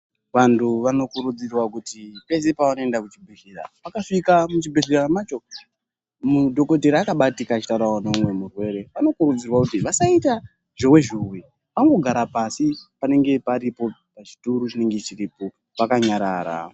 Vantu vano kurudzirwa kuti pese pava noenda ku chibhedhlera vaka svika mu chibhedhlera macho mudhokotera akabatika achi taurawo ne umwe murwere ano kurudzirwawo kuti vasaita zhowe zhowe angogara pasi panenge paripo pa chituru chinenge chiripo vaka nyarara.